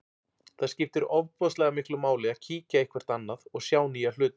Það skiptir ofboðslega miklu máli að kíkja eitthvert annað og sjá nýja hluti.